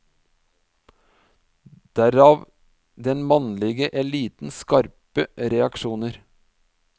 Derav den mannlige elitens skarpe reaksjoner.